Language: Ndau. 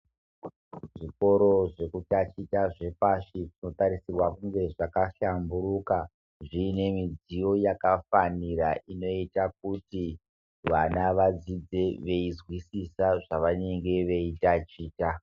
Zvikoro zvekutangisa zvepashi zvinotarisirwa kunge zvakahlamburika zviine midziyo yakafanira inoita kuti Vana vadzidze veizwisisa zvavanenge veitichwa .